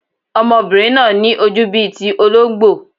Ọmọbìnrin náà ní ojú bíi ti olóńgbò.